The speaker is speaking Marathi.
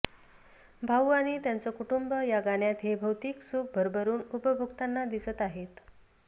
भाऊ आणि त्यांचं कुटुंब या गाण्यात हे भौतिक सुख भरभरून उपभोगताना दिसत आहेत